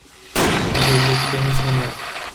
джой я тебя не понимаю